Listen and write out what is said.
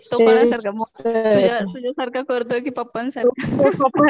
तो कोणासारखा मम्मी तुझ्यासारखा करतोय की पप्पांसारखा